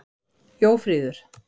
Jófríður